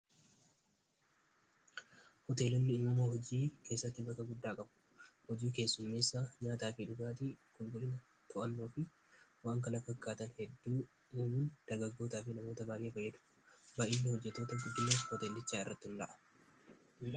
hoteellilli imuma hojii keessatti baka guddaa qabu hojii keessummeessa nyaataa fi dugaatii kulgulina tu'alloo fi waan kala fakkaatan hedduu muyuun dargaggootaa fi namoota baaree fayyadu baa'iilla hojjetoota fudila hoteellichaa irratti hun dha'a